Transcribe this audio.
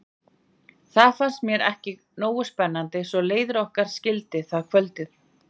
Það fannst mér ekki nógu spennandi svo leiðir okkar skildi það kvöldið.